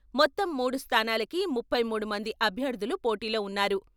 మొత్తం మూడు స్థానాలకి ముప్పై మూడు మంది అభ్యర్థులు పోటీలో ఉన్నారు.